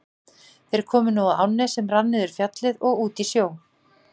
Þeir komu nú að ánni sem rann niður Fjallið og út í sjó.